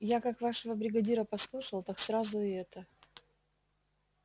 я как вашего бригадира послушал так сразу и это